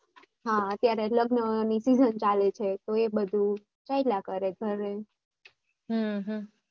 હા અત્યારે લગન ની season ચાલે છે તો એ બધું ચાલ્યા કરે ઘરે